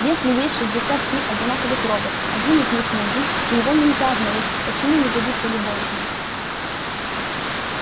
если есть шестьдесят три одинаковых робота один из них нужен и его нельзя обнаружить почему не годится любой из них